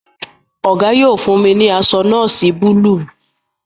Ogo yóò fún mí ní aṣọ nọọsi Búlúù.